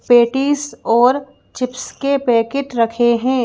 Patties और chips के packet रखे है।